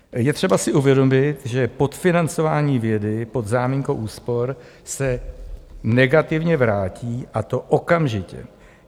Je třeba si uvědomit, že podfinancování vědy pod záminkou úspor se negativně vrátí a to okamžitě.